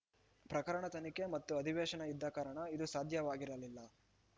ಪ್ರಕರಣ ತನಿಖೆ ಮತ್ತು ಅಧಿವೇಶನ ಇದ್ದ ಕಾರಣ ಇದು ಸಾಧ್ಯವಾಗಿರಲಿಲ್ಲ